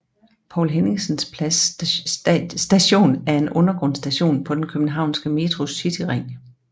Poul Henningsens Plads Station er en undergrundsstation på den københavnske Metros cityring